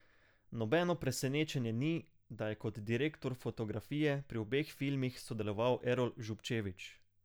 Nobeno presenečenje ni, da je kot direktor fotografije pri obeh filmih sodeloval Erol Zubčević.